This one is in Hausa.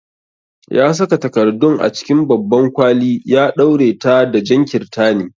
Ya saka takardun a cikin babban kwali ya ɗaure ta da jan kirtani.